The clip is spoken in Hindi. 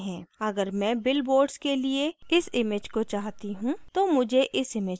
अगर मैं bill boards के लिए इस image को चाहती हूँ तो मुझे इस image को scale करना है